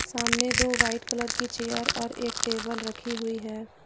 सामने दो white colour की चेयर और एक टेबल रखी हुई है।